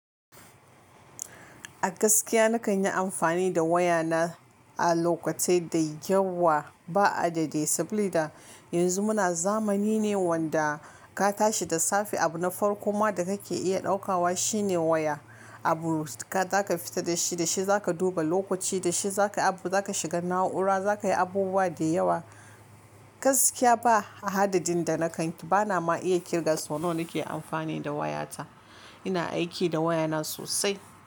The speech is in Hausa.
A gaskiya na kan yi amfani da waya na a lokatai da yawa ba'adadi sabili da yanzu muna zamani ne wanda ka tashi da safe abu na farko ma da ka ke iya ɗaukawa shine waya. Abu zaka fita da shi, da shi zaka duba lokaci, da shi zaka abu, zaka shiga na'ura, za ka yi abubuwa da yawa. Gaskiya ba hadadin da na kan bana ma iya kirga su. Sonon ni ke amfani da waya ta. Ina aiki da waya na sosai.